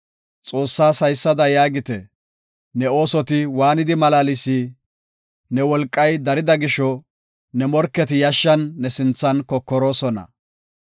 Xoossaas haysada yaagite; “Ne oosoti waanidi malaalsii? Ne wolqay darida gisho, ne morketi yashshan ne sinthan kokoroosona.